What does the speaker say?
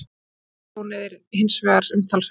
Eignatjónið er hins vegar umtalsvert